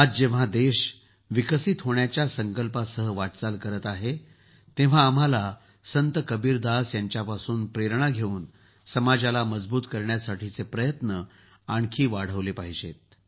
आज जेव्हा देश विकसित होण्याच्य संकल्पासह वाटचाल करत आहे तेव्हा आम्हाला संत कबीरदास यांच्यापासून प्रेरणा घेऊन समाजाला मजबूत करण्यासाठीचे प्रयत्न आणखी वाढवले पाहिजेत